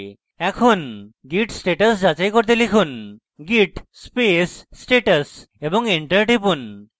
এখন git status যাচাই করতে লিখুন git space status এবং enter টিপুন